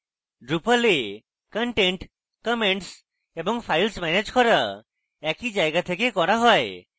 drupal এ content comments এবং files manage করা একই জায়গা থেকে করা হয়